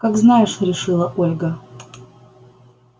как знаешь решила ольга